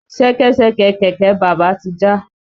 Ṣẹkẹ́ṣẹkẹ̀ kẹ̀kẹ́ bàbá ti já.